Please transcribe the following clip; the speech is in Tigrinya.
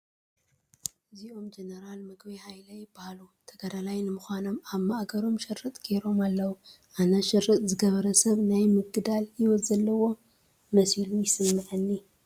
እዚኦም ጀነራል ምግበይ ሃይለ ይበሃሉ፡፡ ተጋዳላይ ንምዃኖም ኣብ ማእገሮም ሽርጥ ገይሮም ኣለዉ፡፡ ኣነ ሽርጥ ዝገበረ ሰብ ናይ ምግዳል ህይወት ዘለዎ መሲሉ እዩ ዝስምዐኒ፡፡